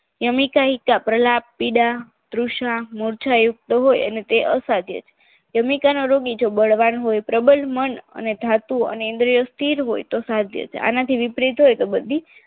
જમણી નાયીકા પ્રલાપીડા તૃષ્ણા મુર્જાયુક્ત હોય અને તે અસાધ્ય છે જમણી કાનો રોગ એ જો બળવાન હોય પ્રબળ મન અને ધાતુ અને ઇન્દ્રિયો સ્થિર હોય તો સાધ્ય છે આનાથી વિપરીત હોય તો બધી